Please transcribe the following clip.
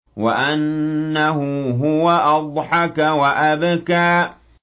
وَأَنَّهُ هُوَ أَضْحَكَ وَأَبْكَىٰ